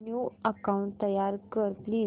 new account तयार कर please